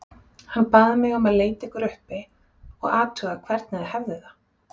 Hann bað mig um að leita ykkur uppi og athuga hvernig þið hefðuð það